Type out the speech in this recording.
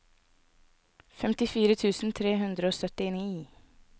femtifire tusen tre hundre og syttini